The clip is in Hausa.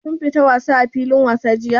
Kun fita wasa a filin wasa jiya?